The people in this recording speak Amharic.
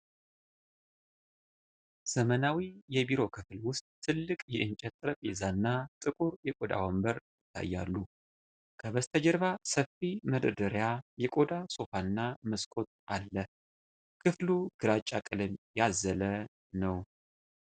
ዘመናዊ የቢሮ ክፍል ውስጥ ትልቅ የእንጨት ጠረጴዛና ጥቁር የቆዳ ወንበር ይታያሉ። ከበስተጀርባ ሰፊ መደርደሪያ፣ የቆዳ ሶፋና መስኮት አለ። ክፍሉ ግራጫ ቀለም ያዘለ ነው።